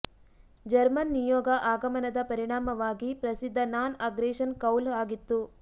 German ನಿಯೋಗ ಆಗಮನದ ಪರಿಣಾಮವಾಗಿ ಪ್ರಸಿದ್ಧ ನಾನ್ ಅಗ್ರೆಶನ್ ಕೌಲು ಆಗಿತ್ತು